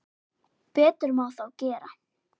Betur má þó gera.